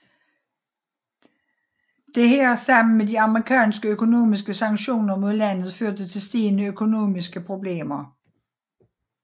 Dette sammen med de amerikanske økonomiske sanktioner mod landet førte til stigende økonomiske problemer